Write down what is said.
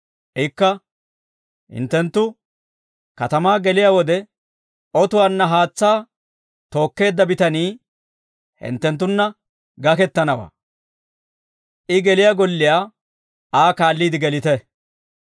Ikka, «Hinttenttu, katamaa geliyaa wode otuwaanna haatsaa tookkeedda bitanii hinttenttunna gakettanawaa; I geliyaa golliyaa Aa kaalliide gelite;